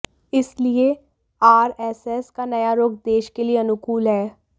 इसलिए आरएसएस का नया रुख देश के लिए अनुकूल है